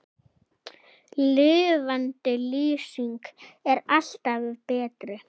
Lifandi lýsing er alltaf betri.